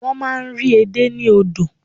Wọ́n máa n rí edé ní odò